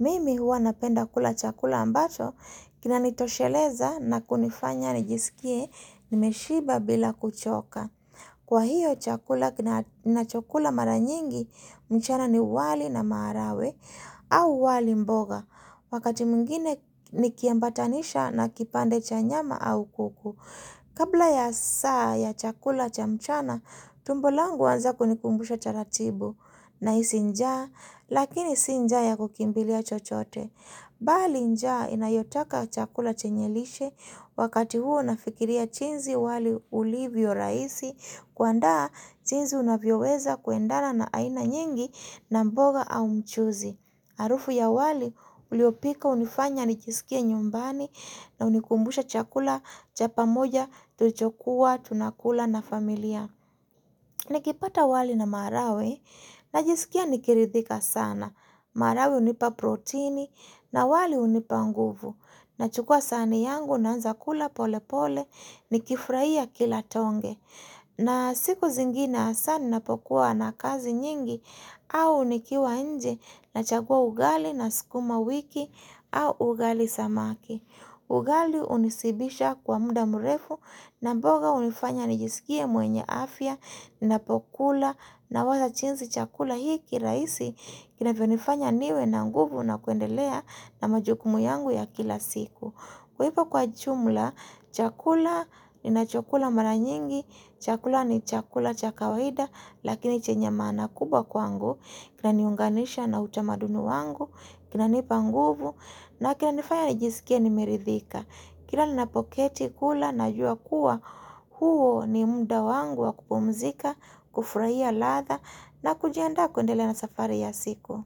Mimi huwa napenda kula chakula ambacho, kinanitosheleza na kunifanya nijisikie, nimeshiba bila kuchoka. Kwa hiyo chakula ninacho kula maranyingi, mchana ni wali na maharagwe au wali mboga. Wakati mwingine nikiambatanisha na kipande cha nyama au kuku. Kabla ya saa ya chakula cha mchana, tumbo langu huanza kunikumbusha taratibu na hisi njaa, lakini si njaa ya kukimbilia chochote. Bali njaa inayotaka chakula chenyelishe wakati huo nafikiria jinsi wali ulivyo rahisi kuandaa jinsi unavyoweza kuendana na aina nyingi na mboga au mchuzi. Harufu ya wali uliopikwa hunifanya nijisikie nyumbani na hunikumbusha chakula cha pamoja tulichokuwa tunakula na familia. Nikipata wali na maharagwe na jisikia nikiridhika sana. Maharagwe hunipa proteini na wali hunipa nguvu. Nachukua sahani yangu naanza kula pole pole nikifurahia kila tonge. Naa siku zingine hasa ninapokuwa na kazi nyingi au unikiwa nje na chagua ugali na sukuma wiki au ugali samaki. Ugali hunishibisha kwa muda mrefu na mboga unifanya nijisikie mwenye afya ninapokula na waza jinsi chakula hiki rahisi kinavyo unifanya niwe na nguvu na kuendelea na majukumu yangu ya kila siku. Kwa hivyo kwa jumla, chakula ni na cho kula maranyingi, ni chakula cha kawaida, lakini chenye maana kubwa kwangu. Kina niunganisha na utamaduni wangu, kina nipanguvu, na kina nifanya ni jisikie nimeridhika. Kila ninapoketi kula najua kuwa huo ni mda wangu wa kupumzika, kufurahia ladha na kujiandaa kuendelea na safari ya siku.